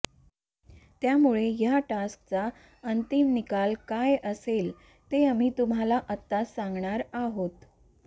त्यामुळे या टास्कचा अंतिम निकाल काय असेल ते आम्ही तुम्हाला आताच सांगणार आहोत